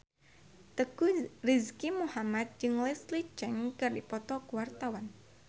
Teuku Rizky Muhammad jeung Leslie Cheung keur dipoto ku wartawan